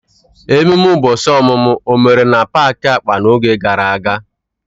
Ememe ụbọchị ọmụmụ o mere na paaki akpa n'oge gara aga?